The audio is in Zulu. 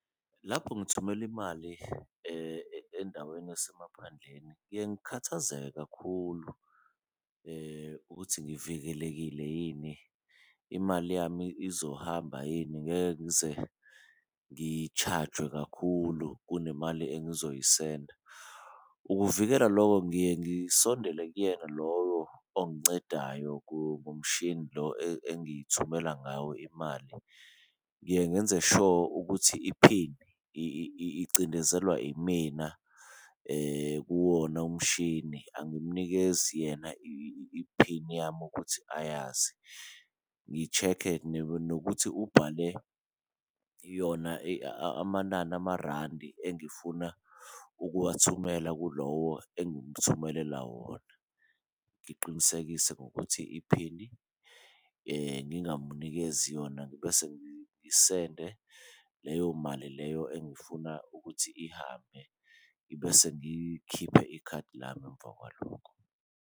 Lapho ngithumela imali endaweni yasemaphandleni, ngiye ngikhathazeke kakhulu ukuthi ngivikelekile yini, imali yami izohamba yini, ngeke ngize ngi-charge-we kakhulu kule mali engizoyisenda. Ukuvikela loko ngiye ngisondele kuyena lowo ongincedayo ngomshini lo engithumela ngawo imali. Ngiye ngenze sho ukuthi iphini icindezelwa imina kuwona umshini angimunikezi yena iphini yami ukuthi ayazi, ngi-check-e nokuthi ubhale yona amanani amarandi engifuna ukuwathumela kulowo engimthumelela wona. Ngiqinisekise ngokuthi iphini ngingamunikezi yona ngibese ngisende leyo mali leyo engifuna ukuthi ihambe. Ngibese ngikhiphe ikhadi lami emva kwalokho.